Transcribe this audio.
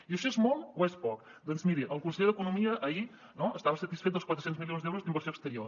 i això és molt o és poc doncs miri el conseller d’economia ahir no estava satisfet dels quatre cents milions d’euros d’inversió exterior